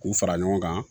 K'u fara ɲɔgɔn kan